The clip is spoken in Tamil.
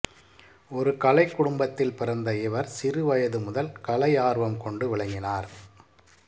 ஒரு கலைக் குடும்பத்தில் பிறந்த இவர் சிறுவயது முதல் கலையார்வம் கொண்டு விளங்கினார்